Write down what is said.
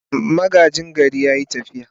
Magaji gari ya yi tafiya.